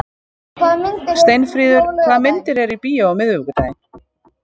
Steinfríður, hvaða myndir eru í bíó á miðvikudaginn?